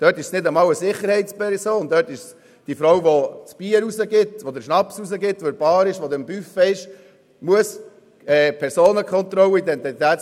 Dort ist es nicht mal eine Sicherheitsperson, sondern die Frau hinter der Bar, die das Bier und den Schnaps herausgibt, die diese Identitätskontrollen durchführen muss.